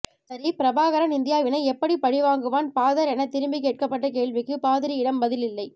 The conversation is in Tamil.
சரி பிரபாகரன் இந்தியாவினை எப்படி பழிவாங்குவான் பாதர் என திருப்பி கேட்கபட்ட கேள்விக்கு பாதிரியிடமும் பதில் இல்லை